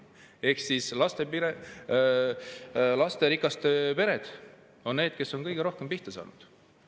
Ehk siis lasterikkad pered on need, kes on kõige rohkem pihta saanud.